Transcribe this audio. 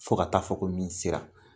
Fo ka taa fɔ ko min sera